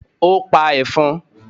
ó pa ẹ̀fọn?